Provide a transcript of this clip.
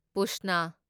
ꯄꯨꯁꯅ